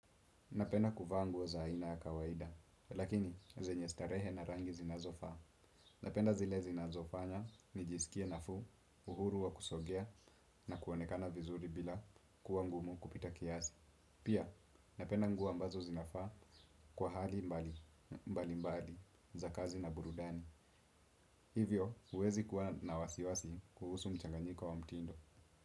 Napenda kufa nguo za aina ya kawaida, lakini zenye starehe na rangi zinazofa. Napenda zile zinazofanya, nijisikie nafu, uhuru wa kusogea, na kuwonekana vizuri bila kuwa ngumu kupita kiasi. Pia, napenda nguwo ambazo zinafaa kwa hali mbali mbali za kazi na burudani. Hivyo, uwezi kuwa na wasiwasi kuhusu mchanganyiko wa mtindo.